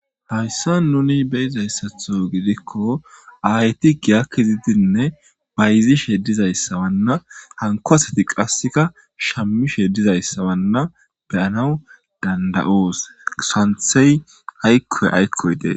Haysan nuni beyizaysatho gidiko ayeti giya kezidinne mayzishe dizaysa anko asati qaseka shamishe dizaysa be'anawu dandayos. Santhey ayko aykoy de'es